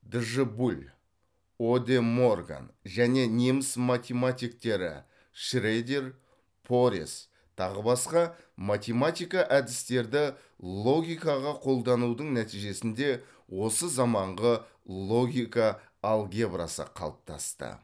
дж буль оде морган және неміс математиктері шредер порец тағы басқа математика әдістерді логикаға қолданудың нәтижесінде осы заманғы логика алгебрасы қалыптасты